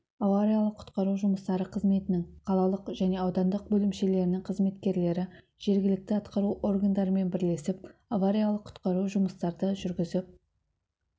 авариялық-құтқару жұмыстары қызметінің қалалық және аудандық бөлімшелерінің қызметкерлері жергілікті атқару органдарымен бірлесіп авариялық-құтқару жұмыстарды жүргізіп